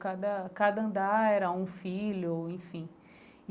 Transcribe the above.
Cada cada andar era um filho, enfim.